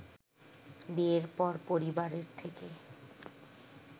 বিয়ের পর পরিবারের থেকে